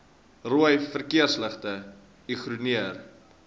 rooi verkeersligte ignoreer